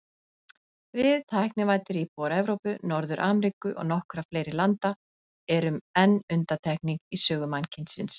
Við, tæknivæddir íbúar Evrópu, Norður-Ameríku og nokkurra fleiri landa, erum enn undantekning í sögu mannkynsins.